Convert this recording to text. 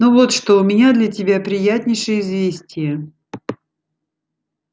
ну вот что у меня для тебя приятнейшее известие